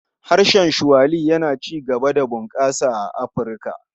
Harshen Swahili yana ci gaba da bunƙasa a Afirka.